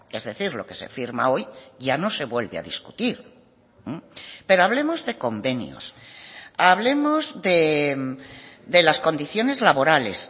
es decir lo que se firma hoy ya no se vuelve a discutir pero hablemos de convenios hablemos de las condiciones laborales